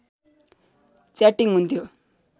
chatting हुन्थ्यो